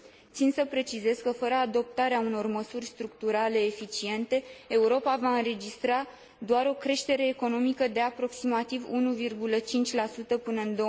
Țin să precizez că, fără adoptarea unor măsuri structurale eficiente, Europa va înregistra doar o creștere economică de aproximativ 1,5 până în